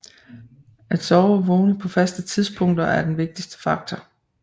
At sove og vågne på faste tidspunkter er den vigtigste faktor